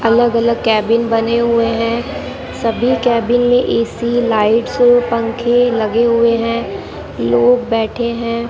अलग अलग कैबिन बने हुए हैं सभी कैबिन में ए_सी लाइट्स पंखे लगे हुए हैं लोग बैठे हैं।